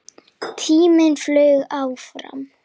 Tíminn flaug áfram.